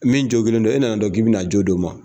Min jokilen don e nana dɔnki k'i bɛ na jo d'o ma.